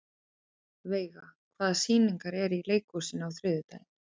Veiga, hvaða sýningar eru í leikhúsinu á þriðjudaginn?